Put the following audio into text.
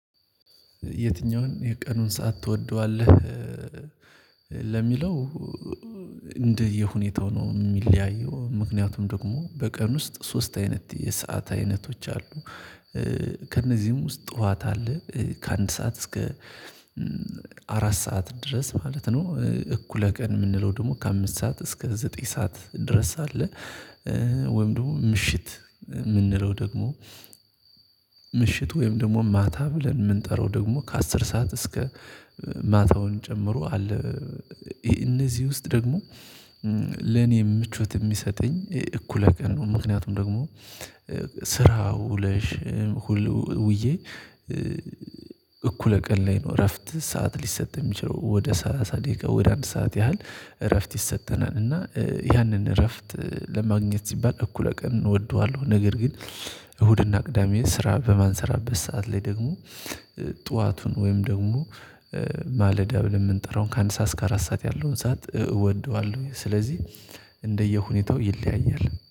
የትኛውን የቀኑን ሰዓት ትወደዋለህ? ለሚለው እንደየሁኔታው ነው የሚለያየው ምክንያቱም ደግሞ በቀን ውስጥ ሶስት አይነት የሰዓት አይነቶች አሉ ከእነዚህም ውስጥ ጠዋት አለ ከአንድ ሰዓት እስከ አራት ሰዓት ድረስ ማለት ነው፣ እኩለ ቀን የምንለው ደግሞ ከአምስት ሰዓት እስከ ዘጠኝ ሰዓት ድረስ አለ፣ ወይም ደግሞ ምሽት የምንለው ደግሞ ምሽት ወይም ደግሞ ማታ ብለን የምንጠራው ደግሞ ከአስር ሰዓት እስከ ማታውን ጨምሮ አለ እነዚህ ውስጥ ደግሞ ለኔ ምቾት የሚሰጠኝ እኩለ ቀን ነው ምክንያቱም ደግሞ ስራ ውለሽ ሁሉ ውዬ እኩለ ቀን ላይ ነው እረፍት ሰዓት ሊሰጥ የሚችለው ወደ ሰላሳ ደቂቃ ወደ አንድ ሰዓት ያህል እረፍት ይሰጠናል እና ያንን እረፍት ለማግኘት ሲባል እኩለ ቀንን እወደዋለሁ ነገር ግን እሁድና ቅዳሜ ስራ በማንሰራበት ሰዓት ላይ ደግሞ ጠዋቱን ወይም ደግሞ ማለዳ ብለን የምንጠራው ከአንድ ሰዓት እስከ አራት ሰዓት ያለውን ሰዓት እወደዋለሁ ስለዚህ እንደየሁኔታው ይለያያል።